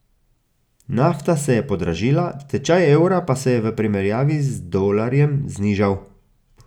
Nafta se je podražila, tečaj evra pa se je v primerjavi z dolarjem znižal.